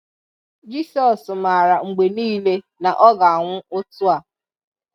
Jisọs maara mgbe niile na Ọ ga-anwụ otu a.